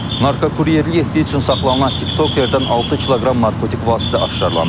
Narkokuryerlik etdiyi üçün saxlanılan tiktoker-dən 6 kiloqram narkotik vasitə aşkar olunub.